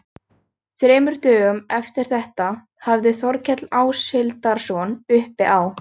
Þremur dögum eftir þetta hafði Þórkell Áshildarson uppi á